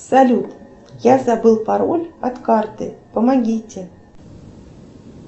салют я забыл пароль от карты помогите